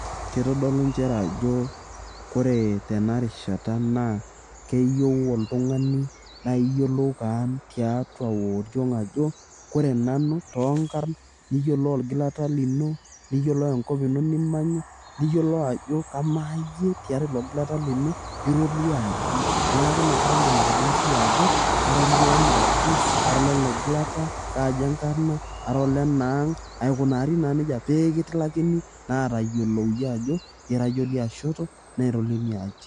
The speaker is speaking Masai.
kitodolu nchere ajo kore tenarishata naa keyieu oltung'ani naa iyiolou kaan tiatua oriong ajo kore nanu tonkarn niyiolou olgilata lino niyiolo enkop ino nimanya niyiolo ajo kamaa iyie tiatua ilo gilata lino ira oliaji neeku inakata indim atolimu siiyie ajo ara oliana aji ara olele gilata kaaji enkarrna ara olena ang aikunari naa nejia pekitilakini naa atayiolou iyie ajo ira iyie oliashoto naa ira oliaji.